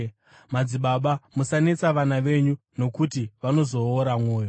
Madzibaba, musanetsa vana venyu, nokuti vanozoora mwoyo.